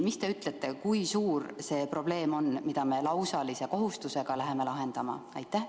Mis te ütlete, kui suur see probleem on, mida me lausalise kohustusega läheme lahendama?